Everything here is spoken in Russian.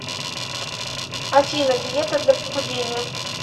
афина диета для похудения